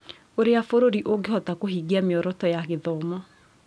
Ũrĩa bũrũri ũngĩhota kũhingia mĩoroto ya gĩthomo.